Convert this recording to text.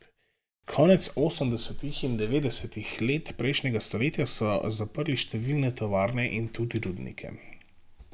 Konec osemdesetih in devetdesetih let prejšnjega stoletja so zaprli številne tovarne in tudi rudnike.